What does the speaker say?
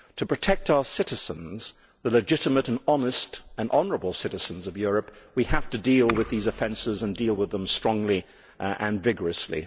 To protect our citizens, the legitimate, honest and honourable citizens of Europe, we have to deal with these offences and deal with them strongly and vigorously.